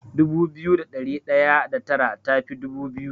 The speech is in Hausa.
Dubu biyu da ɗari ɗaya da tara tafi dubu biyu.